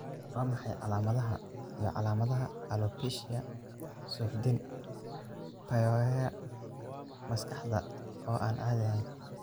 Waa maxay calaamadaha iyo calaamadaha Alopecia, suuxdin, pyorrhea, maskaxda oo aan caadi ahayn?